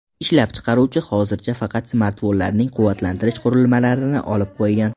Ishlab chiqaruvchi hozircha faqat smartfonlarning quvvatlantirish qurilmalarini olib qo‘ygan.